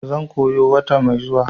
zan koya wata mai zuwa.